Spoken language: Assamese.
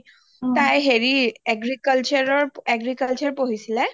তাই হেৰি agriculture ৰ agriculture পঢ়িছিলে